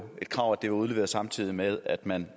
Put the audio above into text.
et krav at det blev udleveret samtidig med at man